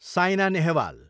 sign Nehwal